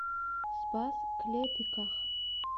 спас клепиках